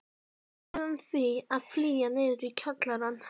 Við urðum því að flýja niður í kjallarann.